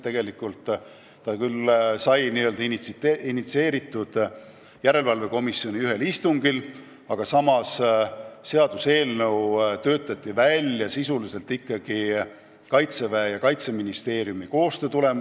See mõte sai küll välja käidud ühel järelevalvekomisjoni istungil, aga eelnõu töötati sisuliselt välja ikkagi Kaitseväe ja Kaitseministeeriumi koostöös.